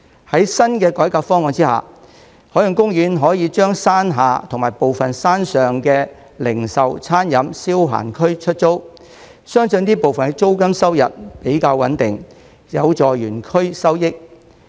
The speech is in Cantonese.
在新的改革方案下，海洋公園可以將山下及部分山上的零售、餐飲、消閒區出租，相信這部分的租金收入比較穩定，有助園區收益。